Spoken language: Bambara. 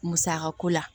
Musaka ko la